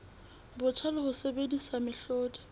botjha le ho sebedisa mehlodi